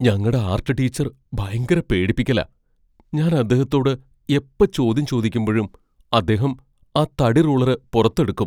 ഞങ്ങടെ art teacher ഭയങ്കര പേടിപ്പിക്കലാ. ഞാൻ അദ്ദേഹത്തോട് എപ്പോ ചോദ്യം ചോദിക്കുമ്പഴും അദ്ദേഹം ആ തടിറൂളറ് പുറത്തെടുക്കും.